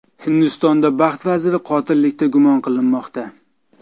Hindistonda baxt vaziri qotillikda gumon qilinmoqda.